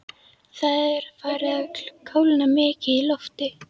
Það er farið að kólna mikið í lofti.